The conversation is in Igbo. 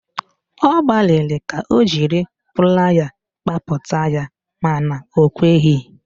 Ọ gbaliri ka o jiri playa kpapụta ya mana o kweghị